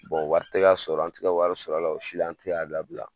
wari tɛ ka sɔrɔ an tɛ ka wari sɔrɔ a la o si la an tɛ k'a dabila